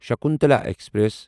Shakuntala express